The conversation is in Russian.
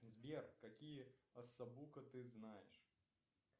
сбер какие асабука ты знаешь